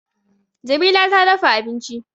Jamila ta dafa abinci